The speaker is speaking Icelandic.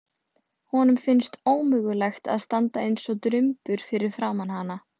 Honum finnst ómögulegt að standa eins og drumbur fyrir framan hana.